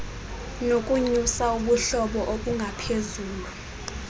nokunyusa ubuhlobo obungaphezulu